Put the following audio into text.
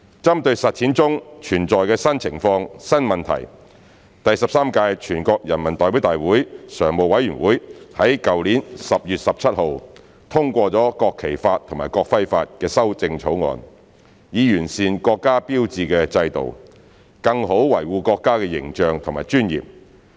針對實踐中存在的新情況、新問題，第十三屆全國人民代表大會常務委員會在去年10月17日通過了《國旗法》及《國徽法》的修正草案，以完善國家標誌制度，更好維護國家的形象和尊嚴。